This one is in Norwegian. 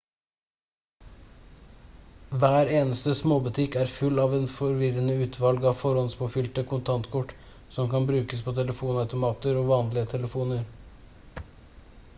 hver eneste småbutikk er full av et forvirrende utvalg av forhåndspåfylte kontantkort som kan brukes på telefonautomater og vanlige telefoner